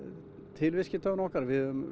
til viðskiptavina okkar við höfum